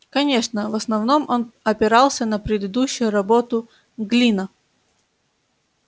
конечно в основном он опирался на предыдущую работу глина